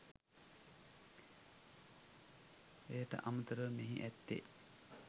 එයට අමතරව මෙහි ඇත්තේ